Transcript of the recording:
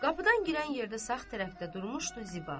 Qapıdan girən yerdə sağ tərəfdə durmuşdu Ziba.